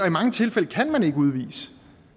i mange tilfælde kan man ikke udvise dem